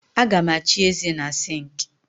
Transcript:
Aga m echi ézē na sịnkị